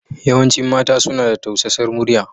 Yawancin mata suna da tausasar muryar.